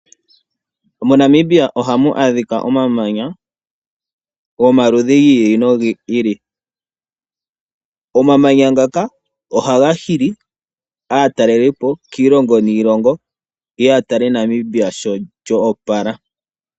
MoNamibia ohamu adhika omamanya gomaludhi gi ili nogi ili. Omamanya ngaka ohaga hili aatalelipo kiilongo niilongo ye ye ya tale Namibia shi lyo opala.